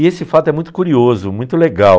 E esse fato é muito curioso, muito legal.